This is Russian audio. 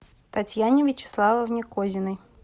татьяне вячеславовне козиной